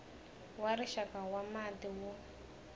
wa rixaka wa mati wu